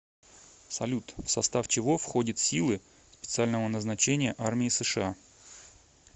салют в состав чего входит силы специального назначения армии сша